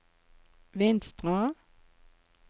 Vinstra